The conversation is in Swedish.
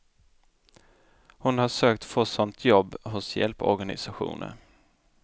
Hon har försökt få sånt jobb hos hjälporganisationer.